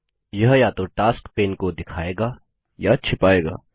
यह या तो टास्क्स पैन को दिखायेगा या छिपायेगा